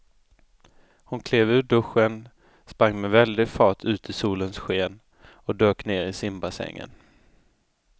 Hon klev ur duschen, sprang med väldig fart ut i solens sken och dök ner i simbassängen.